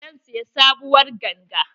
Zan siya sabuwar ganga.